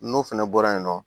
N'o fɛnɛ bɔra yen nɔ